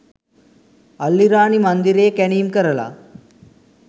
අල්ලිරාණි මන්දිරයේ කැනීම් කරලා